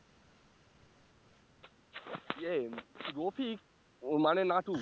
য়ে রফিক মানে নাটু